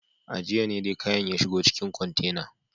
A jiya ne dai kayan ya shigo cikin kwantena.